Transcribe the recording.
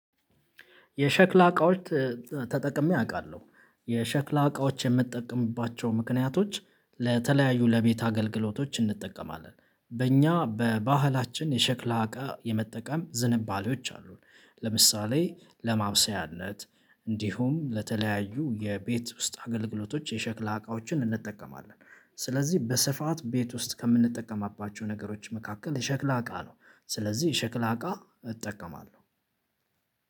የሸክላ እቃዎች ተጠቅሜ አቃለሁ የሸክላ እቃዎች የምጠቀምባቸው ምክንያቶች ለተለያዩ ለቤት አገልግሎቶች እንጠቀማለን በእኛ በባህላችን የሸክላ እቃ የመጠቀም ዝንባሌዎች አሉን። ለምሳሌ ለማብሰያነት እንዲሁም ለተለያዩ የቤት ውስጥ አገልግሎቶች የሸክላ እቃዎችን እንጠቀማለን። ስለዚህ በስፋት ቤት ውስጥ ከምንጠቀማባቸው ነገሮች መካከል የሸክላ እቃ ነው። ስለዚህ የሸክላ እቃ እጠቀማለሁ።